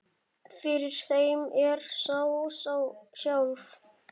Fyrir þeim er ég sjálf